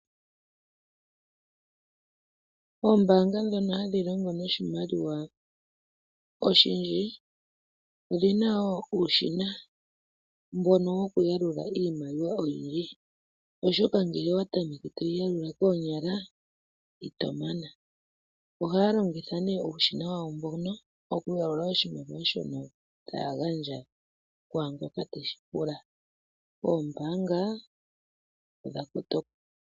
Oombanga dhono hadhilongo noshimaliwa oshindji odhina wo uushina mbono wokuyalula iimaliwa oyindji oshoka ngele owatameke toyi yakula konyala itomana, ohalongitha ne uushina wawo mbono oku yakula oshimaliwa shono tagandja kwangoka teshipula, oombanga odha kotoka.